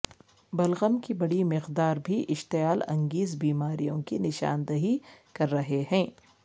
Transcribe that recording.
بلغم کی بڑی مقدار بھی اشتعال انگیز بیماریوں کی نشاندہی کر رہے ہیں